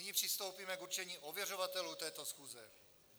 Nyní přistoupíme k určení ověřovatelů této schůze.